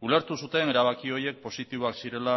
ulertu zuten erabaki horiek positiboak zirela